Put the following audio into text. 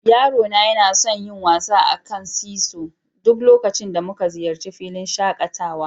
Yaro na yana son yin wasa a kan "seasaw" duk lokacin da muka ziyarci filin shakatawa.